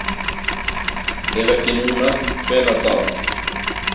Ef ekki núna, hvenær þá?